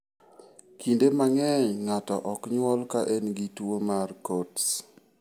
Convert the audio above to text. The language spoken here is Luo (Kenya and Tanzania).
Kinde mang'eny, ng'ato ok nyuol ka en gi tuwo mar Coats.